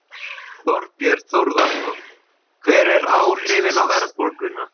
Þorbjörn Þórðarson: Hver eru áhrifin á verðbólguna?